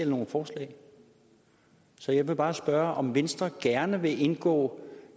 nogen forslag så jeg vil bare spørge om venstre gerne vil indgå